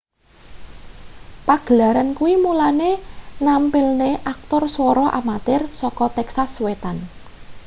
pagelaran kuwi mulane nampilne aktor swara amatir saka texas wetan